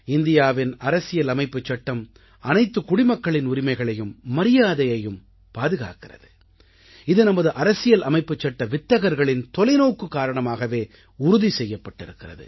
இந்தியாவின் அரசியல் அமைப்புச் சட்டம் அனைத்துக் குடிமக்களின் உரிமைகளையும் மரியாதையையும் பாதுகாக்கிறது இது நமது அரசியல் அமைப்புச் சட்ட வித்தகர்களின் தொலைநோக்கு காரணமாகவே உறுதி செய்யப்பட்டிருக்கிறது